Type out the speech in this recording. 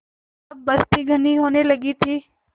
अब बस्ती घनी होने लगी थी